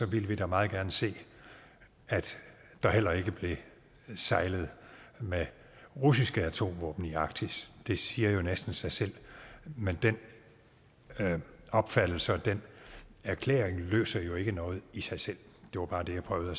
ville vi da meget gerne se at der heller ikke blev sejlet med russiske atomvåben i arktis det siger jo næsten sig selv men den opfattelse og den erklæring løser jo ikke noget i sig selv det var bare det jeg prøvede at